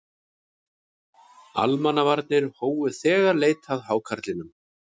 Almannavarnir hófu þegar leit að hákarlinum